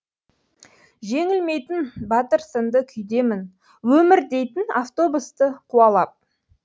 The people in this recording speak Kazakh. жеңілмейтін батыр сынды күйдемін өмір дейтін автобусты қуалап